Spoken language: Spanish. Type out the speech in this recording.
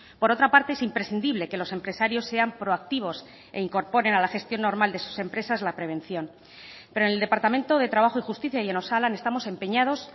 por otra parte es imprescindible que los empresarios sean proactivos e incorporen a la gestión normal de sus empresas la prevención pero en el departamento de trabajo y justicia y en osalan estamos empeñados